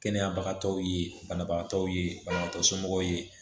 Kɛnɛya bagatɔw ye banabagatɔw ye banabagatɔ somɔgɔw ye